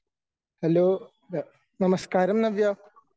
hello നമസ്കാരം നവ്യ